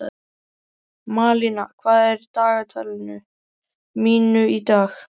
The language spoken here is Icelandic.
Malína, hvað er á dagatalinu mínu í dag?